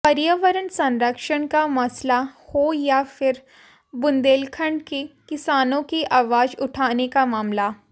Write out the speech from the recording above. पर्यावरण संरक्षण का मसला हो या फिर बुंदेलखंड के किसानों की आवाज उठाने का मामला